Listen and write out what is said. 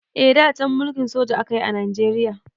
Eh da can mulkin soja akayi a Najeriya.